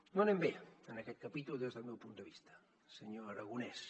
no anem bé en aquest capítol des del meu punt de vista senyor aragonès